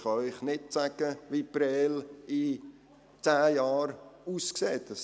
Ich kann Ihnen nicht sagen, wie Prêles in zehn Jahren aussehen wird.